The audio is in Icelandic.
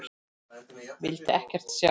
Vildi ekkert sjá.